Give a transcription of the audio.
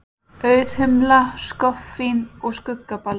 Auðhumla, skoffín og skuggabaldur.